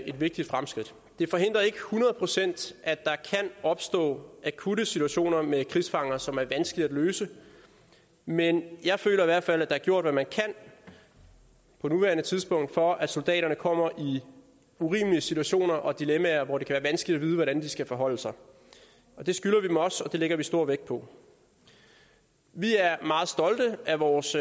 et vigtigt fremskridt det forhindrer ikke hundrede procent at der kan opstå akutte situationer med krigsfanger som er vanskelige at løse men jeg føler i hvert fald har gjort hvad man kan på nuværende tidspunkt for at soldaterne ikke kommer i urimelige situationer og dilemmaer hvor det kan være vanskeligt at vide hvordan de skal forholde sig det skylder vi dem også og det lægger vi stor vægt på vi er meget stolte af vores